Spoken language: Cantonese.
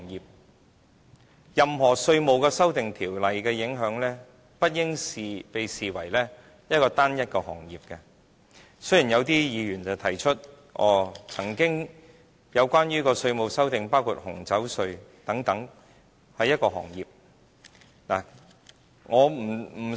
事實上，任何稅務修訂條例的影響，不應被視為單一行業。雖然有些議員提出，過往曾經有稅制修訂是關乎一個行業，包括紅酒稅等。